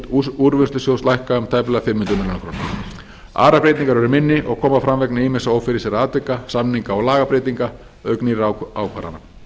og útgjöld úrvinnslusjóðs lækka um tæplega fimm hundruð milljóna króna aðrar breytingar eru minni og koma fram vegna ýmissa ófyrirséðra atvika samninga og lagabreytinga auk nýrra ákvarðana